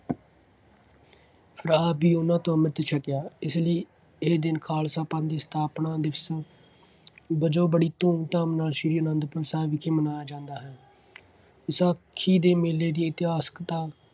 ਆਪ ਵੀ ਉਹਨਾ ਤੋਂ ਅੰਮ੍ਰਿਤ ਛਕਿਆ। ਇਸ ਲਈ ਇਹ ਦਿਨ ਖਾਲਸਾ ਪੰਥ ਦੀ ਸਥਾਪਨਾ ਦਿਵਸ ਵਜੋਂ ਬੜੀ ਧੂਮ-ਧਾਮ ਨਾਲ ਸ੍ਰੀ ਆਨੰਦਪੁਰ ਸਾਹਿਬ ਵਿਖੇ ਮਨਾਇਆ ਜਾਂਦਾ ਹੈ। ਵਿਸਾਖੀ ਦੇ ਮੇਲੇ ਦੀ ਇਤਿਹਾਸਿਕਤਾ